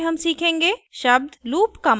इस tutorial में हम सीखेंगे